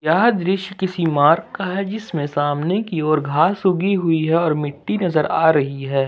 यह दृश्य किसी मार्ग का है जिसमे सामने की ओर घास उगी हुई है और मिट्टी नज़र आ रही है।